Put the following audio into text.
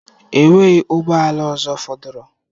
Enweghị ụgbọ ala ọzọ fọdụrụ.